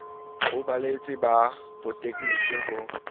ho baeletsi ba botegniki ho